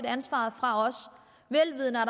ansvaret fra os vel vidende at